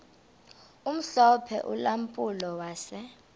omhlophe ulampulo wase